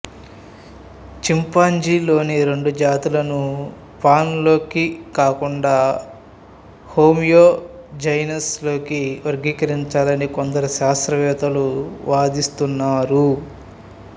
chimpanzee లోని రెండు జాతులను పాన్ లోకి కాకుండా హోమో జెనస్ లోకి వర్గీకరించాలని కొందరు శాస్త్రవేత్తలు వాదిస్తున్నారు